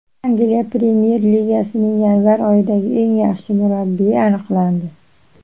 Angliya Premyer Ligasining yanvar oyidagi eng yaxshi murabbiyi aniqlandi.